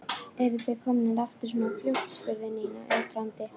Eruð þið komnir aftur svona fljótt? spurði Nína undrandi.